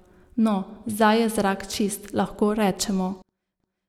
No, zdaj je zrak čist, lahko rečemo.